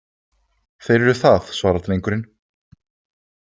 Þeir eru það, svarar drengurinn.